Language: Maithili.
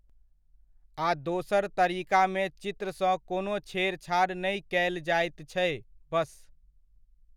आ दोसर तरीकामे चित्रसँ कोनो छेड़छाड़ नहि कयल जाइत छै, बस।